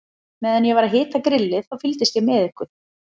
Meðan ég var að hita grillið, þá fylgdist ég með ykkur.